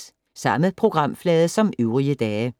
Samme programflade som øvrige dage